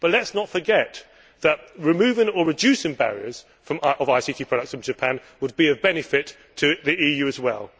But let us not forget that removing or reducing barriers to ICT products from Japan would be of benefit to the EU as well.